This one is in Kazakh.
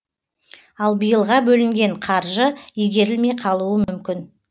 ал биылға бөлінген қаржы игерілмей қалуы мүмкін